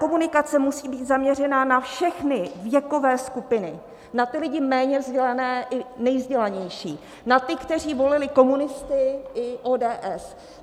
Komunikace musí být zaměřena na všechny věkové skupiny, na ty lidi méně vzdělané i nejvzdělanější, na ty, kteří volili komunisty i ODS.